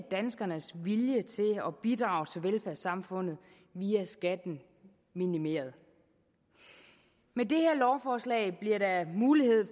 danskernes vilje til at bidrage til velfærdssamfundet via skatten minimeret med det her lovforslag bliver der mulighed